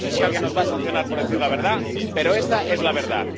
Yo no sé si alguien nos va a sancionar por decir la verdad, pero esta es la verdad.